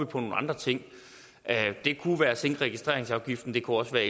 på nogle andre ting det kunne være på at sænke registreringsafgiften det kunne også være